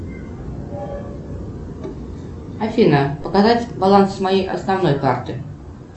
афина показать баланс моей основной карты